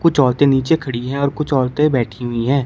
कुछ औरते नीचे खड़ी है और कुछ औरते बैठी हुई है।